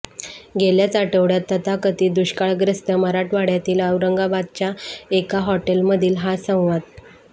गेल्याच आठवड्यात तथाकथित दुष्काळग्रस मराठवाड्यातील औरंगाबादच्या एका हॉटेलमधील हा संवाद